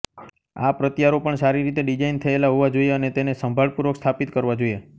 આ પ્રત્યારોપણ સારી રીતે ડિઝાઇન થયેલા હોવા જોઇએ અને તેને સંભાળપૂર્વક સ્થાપિત કરવા જોઇએ